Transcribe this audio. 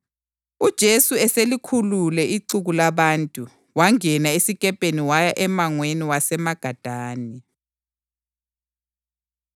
UJesu eselikhulule ixuku labantu, wangena esikepeni waya emangweni waseMagadani.